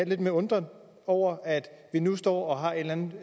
lidt undrende over at vi nu står og har en eller anden